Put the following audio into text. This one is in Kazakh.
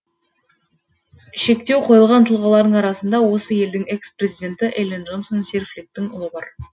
шектеу қойылған тұлғалардың арасында осы елдің экс президенті эллен джонсон сирфлиттің ұлы бар